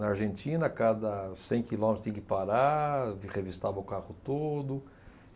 Na Argentina, a cada cem quilômetros tinha que parar, vi revistava o carro todo.